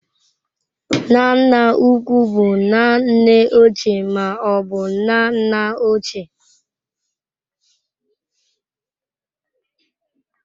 Nna nna ukwu bụ nna nne ochie ma ọ bụ nna nna ochie.